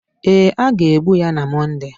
Ee, a ga-egbu ya na Mọnde